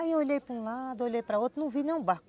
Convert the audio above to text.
Aí eu olhei para um lado, olhei para outro, não vi nenhum barco.